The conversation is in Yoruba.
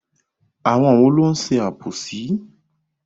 Àwọn wo ló ń ṣe àbòsí?